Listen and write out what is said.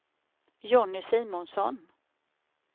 Jonny Simonsson